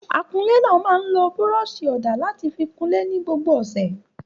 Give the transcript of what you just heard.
Akunlé náà máa ń lo búrọ́ṣì ọ̀dà láti fi kunlé ní gbogbo ọ̀sẹ̀.